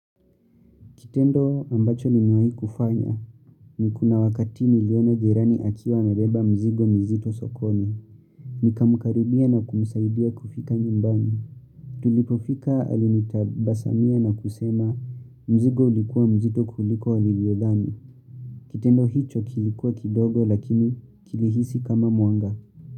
Kitendo ambacho nimewahi kufanya, ni kuna wakati niliona jirani akiwa amebeba mzigo mzito sokoni. Nikamkaribia na kumsaidia kufika nyumbani. Tulipofika alinitabasamia na kusema mzigo ulikuwa mzito kuliko walivyothani. Kitendo hicho kilikuwa kidogo lakini kilihisi kama mwanga.